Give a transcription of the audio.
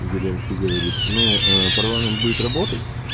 зеленский говорит ну парламент будет работать